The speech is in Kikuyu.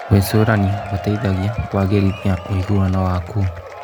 Gwĩcũrania gũteithagia kũagĩrithia ũiguano waku.